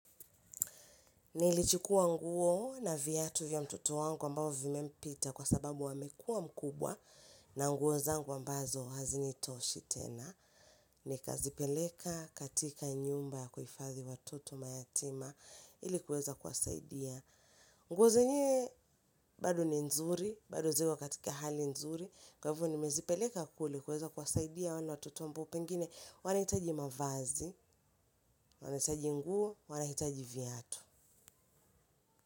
Nilichukuwa nguo na viatu vya mtoto wangu ambao vimempita kwa sababu amekua mkubwa na nguo zangu ambazo hazinitoshi tena. Nika zipeleka katika nyumba ya kuhifadhi watoto mayatima ili kuweza kuwasaidia. Nguo zingine bado ni nzuri, bado ziko katika hali nzuri. Kwa hivyo nimezipeleka kule kuweza kuwasaidia watoto wale ambao pengine wanahitaji mavazi, wanahitaji nguo, wanahitaji viatu.